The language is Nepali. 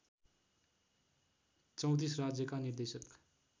३४ राज्यका निर्देशक